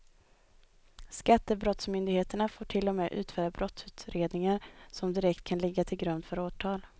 Skattebrottsmyndigheterna får till och med utföra brottsutredningar som direkt kan ligga till grund för åtal.